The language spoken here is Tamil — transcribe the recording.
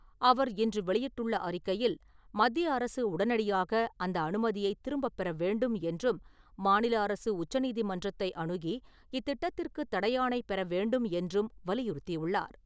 அவர் இன்று வெளியிட்டுள்ள அறிக்கையில், மத்திய அரசு உடனடியாக அந்த அனுமதியை திரும்பப்பெற வேண்டும் என்றும், மாநில அரசு உச்சநீதிமன்றத்தை அணுகி இத்திட்டத்திற்கு தடையாணை பெற வேண்டும் என்றும் வலியுறுத்தியுள்ளார்.